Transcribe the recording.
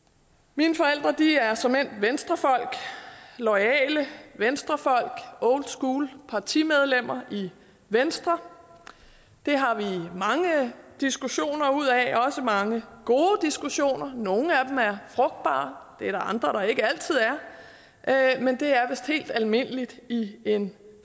mine forældre er såmænd venstrefolk loyale venstrefolk oldschool partimedlemmer i venstre det har vi mange diskussioner ud af også mange gode diskussioner nogle af dem er frugtbare det er der andre der ikke altid er men det er vist helt almindeligt i en